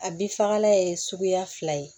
A bin fagala ye suguya fila ye